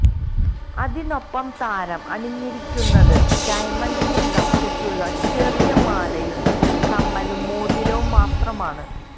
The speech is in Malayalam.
അതിനൊപ്പം താരം അണിഞ്ഞിരിക്കുന്നത് ഡയമണ്ടിന്റെ ലോക്കറ്റുള്ള ചെറിയ മാലയും കമ്മലും മോതിരവും മാത്രമാണ്